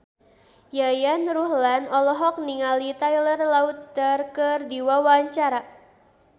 Yayan Ruhlan olohok ningali Taylor Lautner keur diwawancara